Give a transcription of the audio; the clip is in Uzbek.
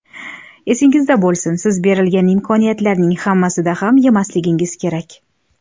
Esingizda bo‘lsin: siz berilgan imkoniyatlarning hammasida ham yemasligingiz kerak.